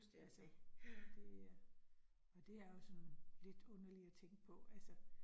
Altså det øh og det er jo sådan lidt underligt at tænke på altså